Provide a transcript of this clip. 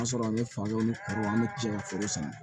O y'a sɔrɔ an ye olu cɛ ka foro sama